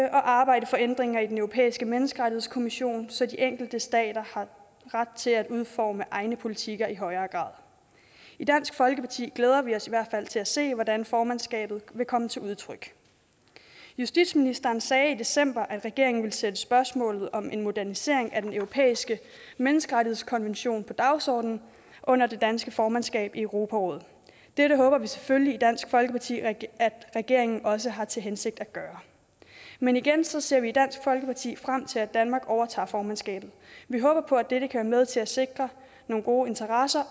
og arbejdes for ændringer i den europæiske menneskerettighedskonvention så de enkelte stater har ret til at udforme egne politiker i højere grad i dansk folkeparti glæder vi os i hvert fald til at se hvordan formandskabet vil komme til udtryk justitsministeren sagde i december at regeringen ville sætte spørgsmålet om en modernisering af den europæiske menneskerettighedskonvention på dagsordenen under det danske formandskab i europarådet det håber vi selvfølgelig i dansk folkeparti at regeringen også har til hensigt at gøre men igen ser vi i dansk folkeparti frem til at danmark overtager formandskabet vi håber på at dette kan være med til at sikre nogle gode interesser